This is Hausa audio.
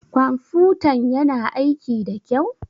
Ƙwamfutan ƴana aiƙi ɗa kƴau?